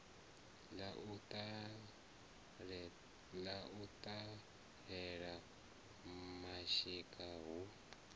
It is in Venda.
ḽa u laṱela mashika hu